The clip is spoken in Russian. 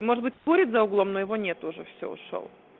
может быть курит за углом но его нету уже всё ушёл